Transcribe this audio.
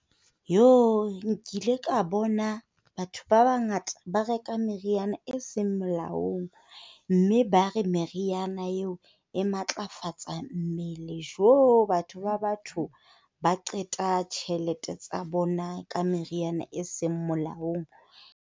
Nkile ka bona batho ba bangata ba reka meriana e seng melaong. Mme ba re meriana eo e matlafatsa mmele. Batho ba batho ba qeta tjhelete tsa bona ka meriana e seng molaong.